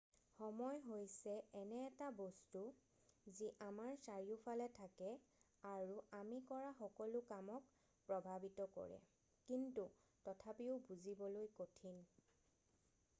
সময় হৈছে এনে এটা বস্তু যি আমাৰ চাৰিওফালে থাকে আৰু আমি কৰা সকলো কামক প্ৰভাৱিত কৰে কিন্তু তথাপিও বুজিবলৈ কঠিন